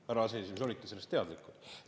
Härra aseesimees, olite sellest teadlikud?